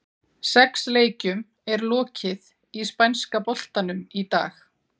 Sex leikjum er lokið í spænska boltanum í dag.